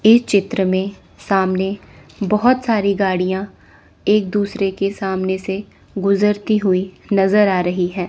इस चित्र में सामने बहुत सारी गाड़ियां एक दूसरे के सामने से गुजरती हुई नजर आ रही है।